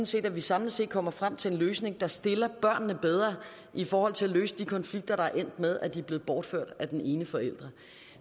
set at vi samlet set kommer frem til en løsning der stiller børnene bedre i forhold til at få løst de konflikter der er endt med at de er blevet bortført af den ene forælder